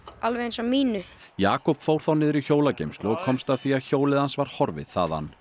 alveg eins og mitt Jakob fór þá niður í hjólageymslu og komst að því að hjólið hans var horfið þaðan